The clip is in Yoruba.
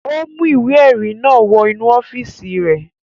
Ó mú ìwé-ẹ̀rí náà wọ inú ọ́fíísì rẹ̀.